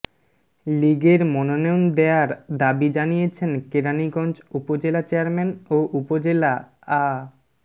লীগের মনোনয়ন দেয়ার দাবি জানিয়েছেন কেরানীগঞ্জ উপজেলা চেয়ারম্যান ও উপজেলা আ